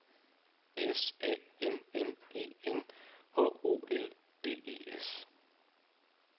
S A M M E N H O L D E S